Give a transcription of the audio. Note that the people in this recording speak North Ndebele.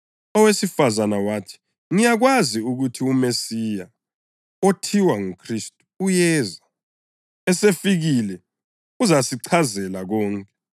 Owesifazane wathi, “Ngiyakwazi ukuthi uMesiya (othiwa nguKhristu) uyeza. Esefikile uzasichazela konke.”